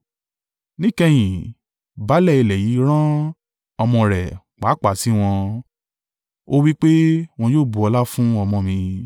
Níkẹyìn, baálé ilé yìí rán ọmọ rẹ̀ pàápàá sí wọn. Ó wí pé, ‘Wọn yóò bu ọlá fún ọmọ mi.’